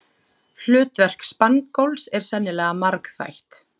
Hlutverk spangóls er sennilega margþætt.